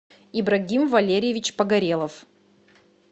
ибрагим валерьевич погорелов